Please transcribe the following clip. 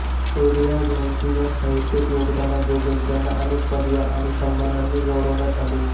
Rudyard यांच्या या साहित्यिक योगदानाबद्दल त्यांना अनेक पदव्या आणि सन्मानांनी गौरवण्यात आलं